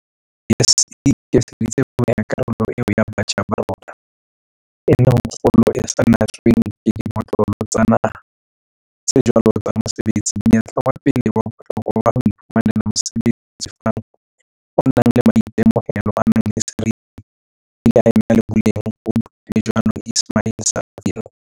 YES e ikemiseditse ho neha karolo eo ya batjha ba rona, e leng e kgolo e sa natsweng ke dimotlolo tsa naha tsa jwale tsa mosebetsi, monyetla wa pele wa bohlokwa wa ho iphumanela mosebetsi o lefang o nang le maitemohelo a nang le seriti, ebile a na le boleng, o buile jwalo Ismail-Saville.